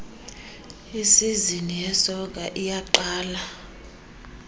isizini yesoka iyaqala